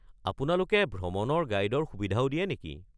আপোনালোকে ভ্ৰমণৰ গাইডৰ সুবিধাও দিয়ে নেকি?